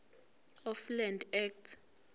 of land act